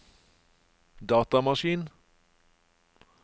datamaskin